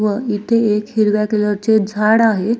व इथे एक हिरव्या कलरचे झाड आहे.